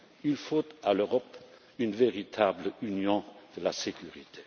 Il faut à l'Europe une véritable union de la sécurité.